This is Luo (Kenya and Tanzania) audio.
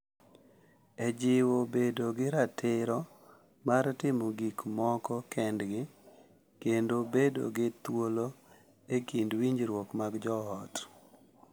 E jiwo bedo gi ratiro mar timo gik moko kendgi kendo bedo gi thuolo e kind winjruok mag joot.